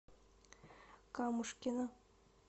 камушкина